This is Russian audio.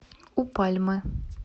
у пальмы